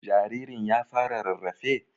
Jaririn ya fara rarrafe?